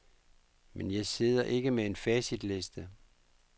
Men jeg sidder ikke med en facitliste.